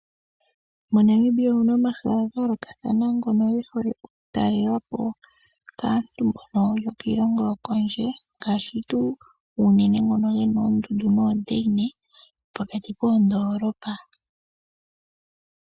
MoNamibia omuna omahala gaayolokathana ngono goku talelwapo kaantu mbono yokiilongo yokondje. Ngashi tuu unene ngono geli moondundu noodeine, pokati koondolopa.